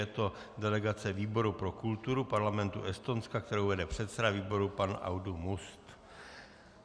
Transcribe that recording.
Je to delegace výboru pro kulturu Parlamentu Estonska, kterou vede předseda výboru pan Aadu Must.